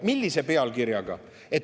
Millise?